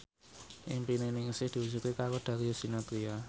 impine Ningsih diwujudke karo Darius Sinathrya